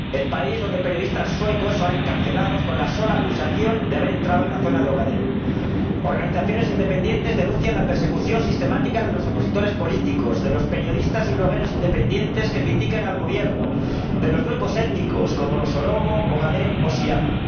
el país donde periodistas suecos son encarcelados con la sola acusación de haber entrado en la zona de Ogadén. Hay organizaciones independientes que denuncian la persecución sistemática de los opositores políticos, de los periodistas y blogueros independientes que critican al Gobierno y de los grupos étnicos como los oromo, ogadén, o sidama.